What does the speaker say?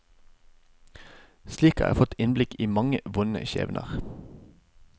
Slik har jeg fått innblikk i mange vonde skjebner.